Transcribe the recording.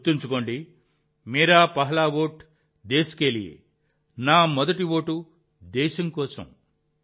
గుర్తుంచుకోండి మేరా పెహ్లా ఓట్ దేశ్ కే లియే నా మొదటి ఓటు దేశం కోసం